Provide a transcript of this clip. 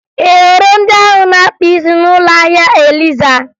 Ị hụrụ ndị ahụ na-akpa isi n'ụlọ ahịa Eliza?